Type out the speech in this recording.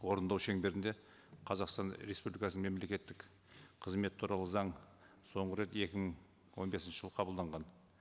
орындау шеңберінде қазақстан республикасының мемлекеттік қызмет туралы заң соңғы рет екі мың он бесінші жылы қабылданған